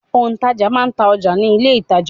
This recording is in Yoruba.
Òǹtajà máa n ta ọjà ní ilé-ìtàjà.